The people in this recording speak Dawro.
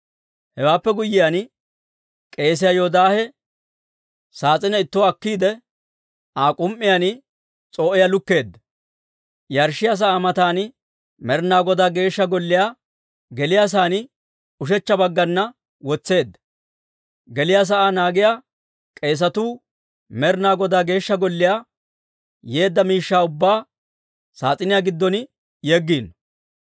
Hewaappe guyyiyaan, k'eesiyaa Yoodaahe saas'ine ittuwaa akkiide, Aa k'um"iyaan s'oo'iyaa lukkeedda; yarshshiyaa sa'aa matan Med'ina Godaa Geeshsha Golliyaa geliyaasaan ushechcha baggana wotseedda. Geliyaa sa'aa naagiyaa k'eesatuu Med'ina Godaa Geeshsha Golliyaa yeedda miishshaa ubbaa saas'iniyaa giddon yeggiino.